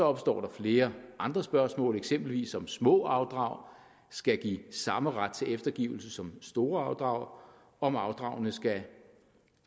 opstå flere andre spørgsmål eksempelvis om små afdrag skal give samme ret til eftergivelse som store afdrag og om afdragene skal